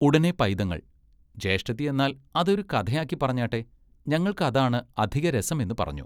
ഉടനെ പൈതങ്ങൾ ജ്യേഷ്ഠത്തി എന്നാൽ അതൊരു കഥയാക്കിപ്പറഞ്ഞാട്ടെ ഞങ്ങൾക്ക് അതാണ് അധിക രസം എന്നു പറഞ്ഞു.